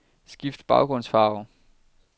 Skift baggrundsfarve.